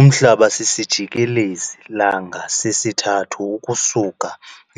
Umhlaba sisijikelezi-langa sesithathu ukusuka